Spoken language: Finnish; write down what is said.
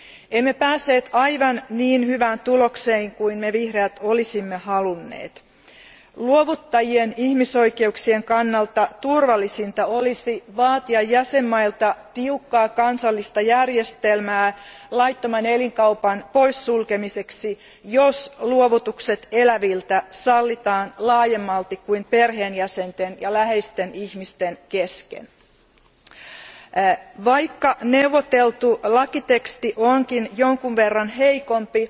Emme päässeet aivan niin hyvään tulokseen kuin me vihreät olisimme halunneet. Luovuttajien ihmisoikeuksien kannalta turvallisinta olisi vaatia jäsenvaltioilta tiukkaa kansallista järjestelmää laittoman elinkaupan poissulkemiseksi, jos luovutukset eläviltä sallitaan laajemmalti kuin perheenjäsenten ja läheisten ihmisten kesken. Vaikka neuvoteltu lakiteksti onkin jonkin verran heikompi,